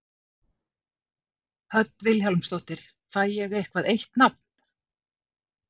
Hödd Vilhjálmsdóttir: Fæ ég eitthvað eitt nafn?